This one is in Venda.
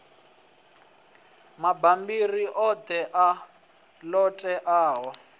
mabammbiri oṱhe a ṱo ḓeaho